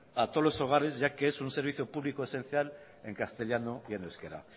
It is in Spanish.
a todos los hogares ya que es un servicio público esencial en castellano y en euskera